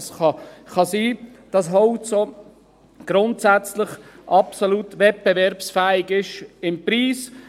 Es kann sein, dass Holz grundsätzlich auch absolut wettbewerbsfähig ist, beim Preis.